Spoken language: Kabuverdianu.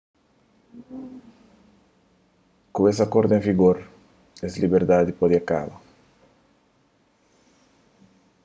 ku es akordu en vigor es liberdadi pode kaba